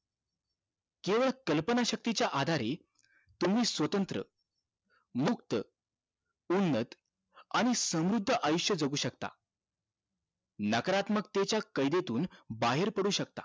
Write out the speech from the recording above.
केवळ कल्पना शक्ती च्या आधारे तुम्ही स्वतंत्र मुक्त उन्नत आणि समृद्ध आयुष्य जगू शकता नाकारात्मकतेच्या कैद्येतून बाहेर पडू शकता